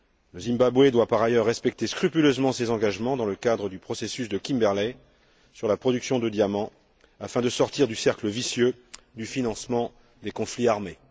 Le Zimbabwe doit, par ailleurs, respecter scrupuleusement ses engagements dans le cadre du processus de Kimberley, sur la production de diamants, afin de sortir du cercle vicieux du financement des conflits armés.